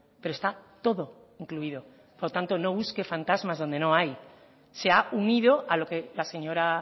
pero está todo incluido por tanto no busque fantasmas donde no hay se ha unido a lo que la señora